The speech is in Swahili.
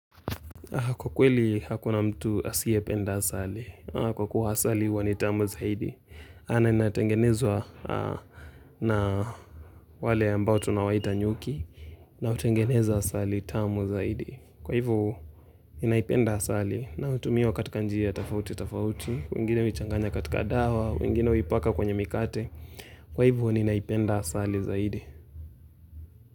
Kwa kweli hakuna mtu asiyependa asali. Kwa kuwa asali huwa ni tamu zaidi. Na inatengenezwa na wale ambao tunawaita nyuki na hutengeneza asali tamu zaidi. Kwa hivyo ninaipenda asali na hutumiwa katika njia tofauti tofauti, wengine huichanganya katika dawa, wengine huipaka kwenye mikate. Kwa hivu inaipenda asali zaidi.